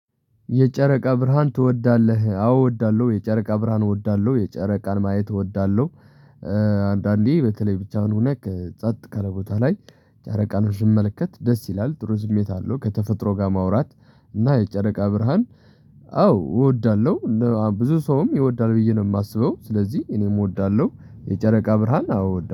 የጨረቃ ብርሃን ትወዳለህ? አዎ እወዳለሁ የጨረቃ ብርሃን እወዳለሁ የጨረቃን ማየት እወዳለሁ። አንዳንዴ በተለይ ብቻውን ሁነክ ጸጥ ካለ ቦታ ላይ ጫረቃኖችን ስመለከት ደስ ይላል ጥሩ ስሜት አለው ከተፈጥሮ ጋር ማውራት። እና የጨረቃ ብርሃን። አዎ እወዳለሁ ብዙ ሰውም ይወዳል ብዬ ነው የማስበው ስለዚህ እኔም እወዳለሁ። የጨረቃ ብርሃን አዎ እወዳለሁ